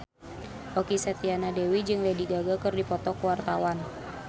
Okky Setiana Dewi jeung Lady Gaga keur dipoto ku wartawan